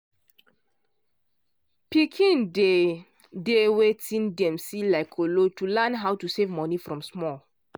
pikin dey dey wetin dem see like kolo to learn how to save money from small.